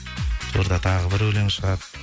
жуырда тағы бір өлең шығады